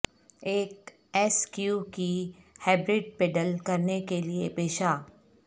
ایک ایس کیوکی ہائبرڈ پیڈل کرنے کے لئے پیشہ